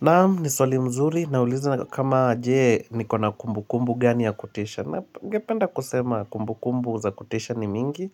Naam ni swali mzuri, naulizwa kama je, nikona kumbu kumbu gani ya kutisha, na ningependa kusema kumbu kumbu za kutisha ni mingi